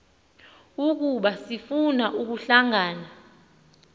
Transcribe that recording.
ukuba lifuna ukuhlangana